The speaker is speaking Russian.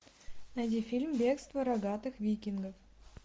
найди фильм бегство рогатых викингов